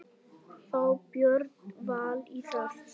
Fá Björn Val í það?